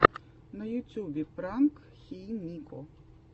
на ютюбе пранк хей нико